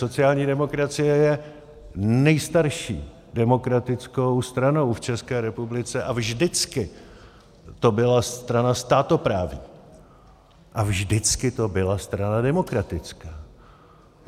Sociální demokracie je nejstarší demokratickou stranou v České republice a vždycky to byla strana státoprávní a vždycky to byla strana demokratická.